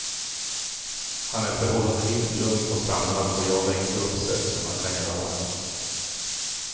Han är förhållandevis lugn och samlad och jagar inte upp sig som han kan göra.